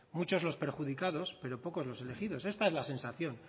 muchos los perjudicados pero pocos los elegidos esta es la sensación